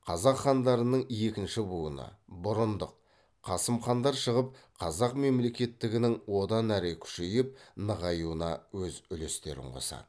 қазақ хандарының екінші буыны бұрындық қасым хандар шығып қазақ мемлекеттігінің одан әрі күшейіп нығаюына өз үлестерін қосады